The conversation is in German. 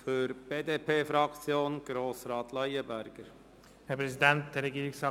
Für die BDP-Fraktion hat Grossrat Leuenberger das Wort.